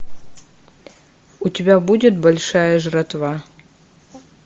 у тебя будет большая жратва